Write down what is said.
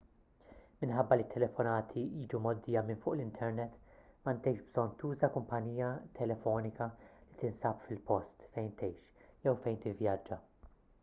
minħabba li t-telefonati jiġu mgħoddija minn fuq l-internet m'għandekx bżonn tuża kumpanija telefonika li tinsab fil-post fejn tgħix jew fejn tivvjaġġa